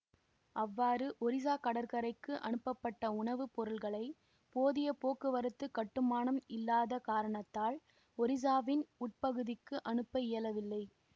அவ்வாறு ஒரிசா கடற்கரைக்கு அனுப்பபட்ட உணவு பொருட்களை போதிய போக்குவரத்து கட்டுமானம் இல்லாத காரணத்தால் ஒரிசாவின் உட்பகுதிக்கு அனுப்ப இயலவில்லை